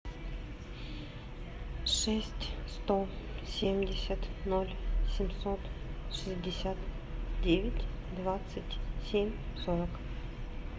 шесть сто семьдесят ноль семьсот шестьдесят девять двадцать семь сорок